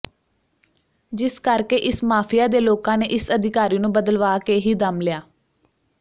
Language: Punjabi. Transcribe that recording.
ਜਿਸ ਕਰਕੇ ਇਸ ਮਾਫੀਆ ਦੇ ਲੋਕਾਂ ਨੇ ਇਸ ਅਧਿਕਾਰੀ ਨੂੰ ਬਦਲਵਾ ਕੇ ਹੀ ਦਮ ਲਿਆ